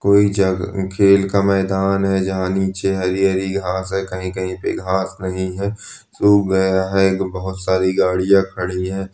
कोई जग खेल का मैदान है जहां नीचे हरी हरी घांस है कही कही पे घांस नहीं है सुख गया है बहोत सारी गाड़िया खड़ी है।